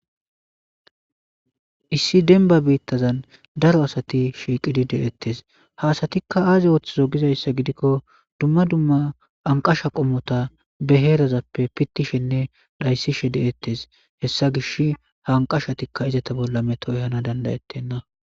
Issi denba biittazan daro asati shiiqidi deettes haasatikka aazi ooththizo gizayssa gidikko dumma dumma anqasha qommota be heerazappe pittishenne dhayssishe de7ettes hessa gish hanqashatikka izata bolla metoy hana dandayettenna.